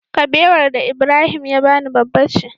Kabewar da Ibrahim ya bani babba ce